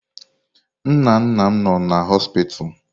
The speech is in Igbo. Nnanna m nno na họspịz.